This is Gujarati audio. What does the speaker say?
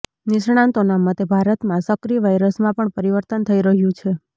નિષ્ણાંતોના મતે ભારતમાં સક્રિય વાયરસમાં પણ પરિવર્તન થઈ રહ્યું છે